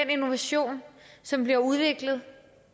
innovation som bliver udviklet